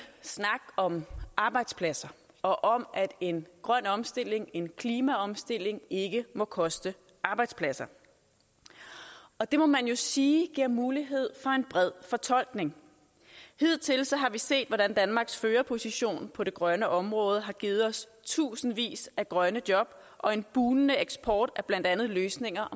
snak om arbejdspladser og om at en grøn omstilling en klimaomstilling ikke må koste arbejdspladser og det må man jo sige giver mulighed for en bred fortolkning hidtil har vi set hvordan danmarks førerposition på det grønne område har givet os tusindvis af grønne job og en bugnende eksport af blandt andet løsninger